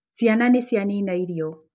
Ciana nĩ cianina irio.